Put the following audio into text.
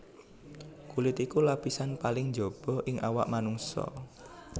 Kulit iku lapisan paling njaba ing awak manungsa